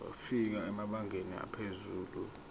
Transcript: wafika emabangeni aphezulu